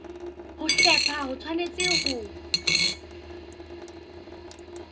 ho hlepha ho tshwanetse ho